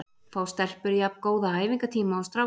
Fá stelpur jafn góða æfingatíma og strákar?